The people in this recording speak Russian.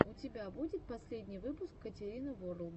у тебя будет последний выпуск катерины ворлд